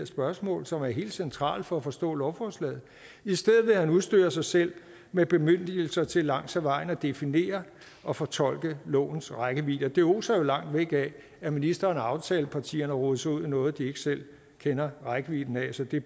spørgsmål som er helt centrale for at forstå lovforslaget i stedet vil han udstyre sig selv med bemyndigelser til langs ad vejen at definere og fortolke lovens rækkevidde og det oser jo langt væk af at ministeren og aftalepartierne har rodet sig ud i noget de ikke selv kender rækkevidden af det